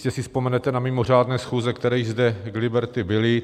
Jistě si vzpomenete na mimořádné schůze, které již zde k Liberty byly.